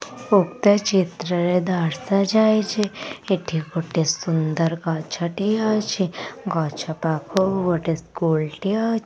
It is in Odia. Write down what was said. ଉକ୍ତ ଚିତ୍ରରେ ଦର୍ଶାଯାଇଛି ଏଠି ଗୋଟେ ସୁନ୍ଦର ଗଛଟିଏ ଅଛି ଗଛ ପାଖକୁ ଗୋଟେ ସ୍କୁଲ ଟିଏ ଅ--